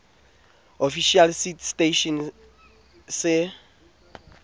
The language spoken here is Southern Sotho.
official seed testing station se